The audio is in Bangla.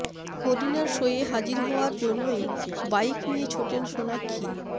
করিনার শোয়ে হাজির হওয়ার জন্যই বাইক নিয়ে ছোটেন সোনাক্ষী